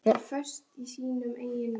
Hann kímir.